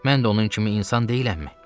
Mən də onun kimi insan deyiləmmi?